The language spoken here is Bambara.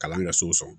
Kalan kɛ so san